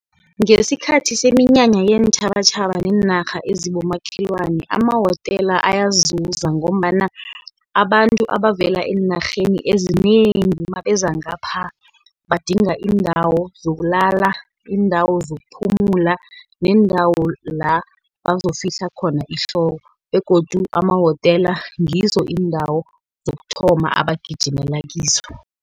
Ngesikhathi seminyanya yeentjhabatjhaba neenarha ezibomakhelwana amawotela ayazuza, ngombana abantu abavela eenarheni ezinengi nabeza ngapha, badinga iindawo zokulala, iindawo zokuphumula, neendawo la, bazokufihla khona ihloko, begodu amawotela ngizo iindawo zokuthoma abangagijimela kizo.